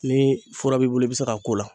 Ni fura b'i bolo , i bɛ se ka k'o la.